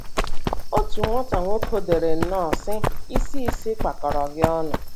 Otu nwata nwoke dere nnọọ, sị: Isi Isi kpakọrọ gị ọnụ.